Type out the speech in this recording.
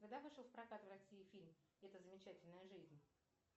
когда вышел в прокат в россии фильм эта замечательная жизнь